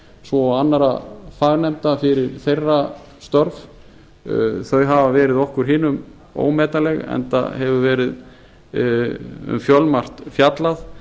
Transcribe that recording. svo og annarra fagnefnda fyrir þeirra störf þau hafa verið okkur hinum ómetanleg enda hefur verið um fjölmargt fjallað